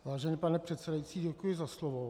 Vážený pane předsedající, děkuji za slovo.